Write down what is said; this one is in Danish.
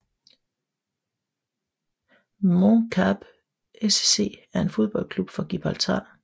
Mons Calpe SC er en fodboldklub fra Gibraltar